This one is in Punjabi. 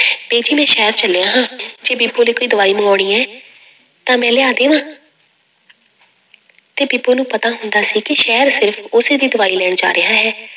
ਬੀਜੀ ਮੈਂ ਸ਼ਹਿਰ ਚੱਲਿਆ ਹਾਂ ਜੇ ਬੀਬੋ ਲਈ ਕੋਈ ਦਵਾਈ ਮੰਗਵਾਉਣੀ ਹੈ, ਤਾਂ ਮੈਂ ਲਿਆ ਦੇਵਾਂ ਤੇ ਬੀਬੋ ਨੂੰ ਪਤਾ ਹੁੰਦਾ ਸੀ ਕਿ ਸ਼ਹਿਰ ਸਿਰਫ਼ ਉਸੇ ਦੀ ਦਵਾਈ ਲੈਣ ਜਾ ਰਿਹਾ ਹੈ।